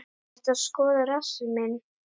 Ertu að skoða rassinn minn?